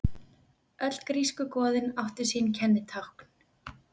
Öll grísku goðin áttu sín kennitákn.